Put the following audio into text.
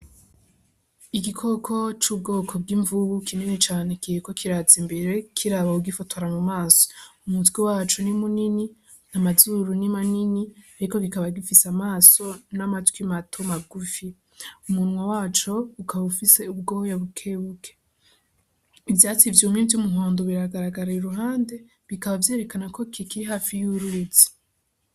Igikoko c'ubwoko bw'imvubu kinini cane kiriko kiraza imbere kiraba uwugifotora mu maso, umutwe waco ni munini, amazuru ni manini, ariko kikaba gifise amaso n'amatwi mato magufi, umunwa waco ukaba ufise ubwoya bukebuke, ivyatsi vyumye vy'umuhondo biragaragara iruhande bikaba vyerekana ko kikiri hafi y'uruzi.